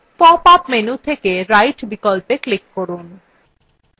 pop up menu থেকে right বিকল্পে click করুন